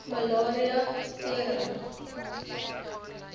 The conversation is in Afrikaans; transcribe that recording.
malaria tering